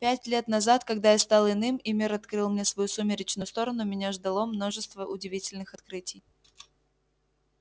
пять лет назад когда я стал иным и мир открыл мне свою сумеречную сторону меня ждало множество удивительных открытий